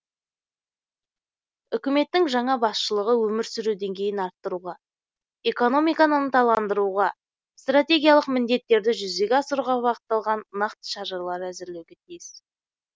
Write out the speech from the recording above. үкіметтің жаңа басшылығы өмір сүру деңгейін арттыруға экономиканы ынталандыруға стратегиялық міндеттерді жүзеге асыруға бағытталған нақты шаралар әзірлеуге тиіс